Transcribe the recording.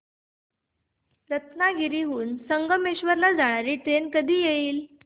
रत्नागिरी हून संगमेश्वर ला जाणारी ट्रेन कधी येईल